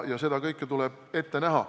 Seda kõike tuleb ette näha.